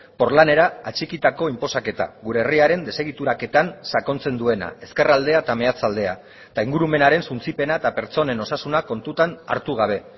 porlanera atxikitako inposaketa gure herriaren desegituraketan sakontzen duena ezkerraldea eta meatzaldea eta ingurumenaren suntsipena eta pertsonen osasuna kontutan hartu gabe